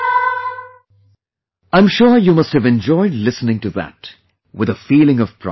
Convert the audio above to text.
I am sure you must have enjoyed listening to that; with a feeling of pride